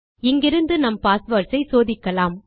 இங்கிருந்து நம் பாஸ்வேர்ட்ஸ் ஐ சோதிக்கலாம்